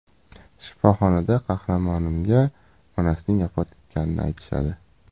Shifoxonada qahramonimga onasining vafot etganini aytishadi.